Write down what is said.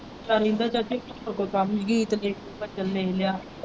ਵੇਖਦਾ ਰਹਿੰਦਾ ਚਾਚੀ ਹੋਰ ਕੋਈ ਕੰਮ ਹੀ ਨਹੀਂ ਗੀਤ ਗੂਤ .